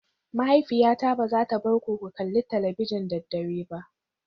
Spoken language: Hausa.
Mahaifiyata ba za ta bar ku ku kalli talabijin da dare ba